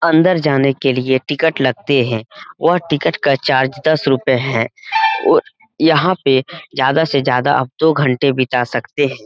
अन्दर जाने के लिए टिकट लगते हैं। और टिकट का चार्ज दस रुपए हैं। और यहां पे ज्यादा से ज्यादा दो घंटे बिता सकते हैं।